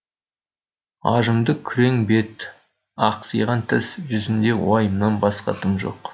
ажымды күрең бет ақсиған тіс жүзінде уайымнан басқа дым жоқ